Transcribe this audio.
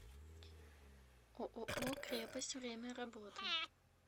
ооо крепость время работы